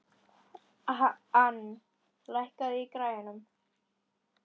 Ann, lækkaðu í græjunum.